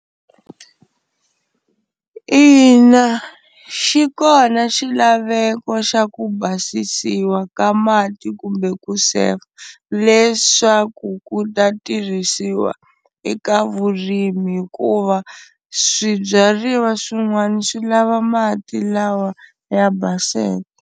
Ina, xi kona xilaveko xa ku basisiwa ka mati kumbe ku sefa, leswaku ku ta tirhisiwa eka vurimi hikuva swibyariwa swin'wana swi lava mati lawa ya baseke.